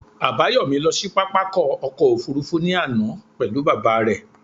Àbáyòmí lọ sí pápákọ̀ ọkọ̀ òfurufú ní àná pelu baba re